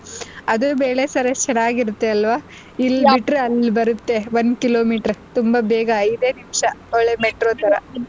ಎಷ್ಟು ಚೆನ್ನಾಗಿರುತ್ತೆ ಅಲ್ವಾ ಇಲ್ ಬಿಟ್ರೆ ಅಲ್ ಬರುತ್ತೆ ಒಂದ್ kilometer ತುಂಬಾ ಬೇಗ ಐದೇ ನಿಂಶ ಒಳ್ಳೆ Metro ತರ .